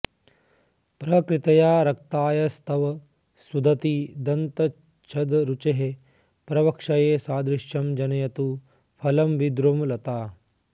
प्रकृत्या रक्तायास्तव सुदति दन्तच्छदरुचेः प्रवक्ष्ये सादृश्यं जनयतु फलं विद्रुमलता